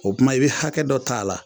O tuma i bɛ hakɛ dɔ ta a la.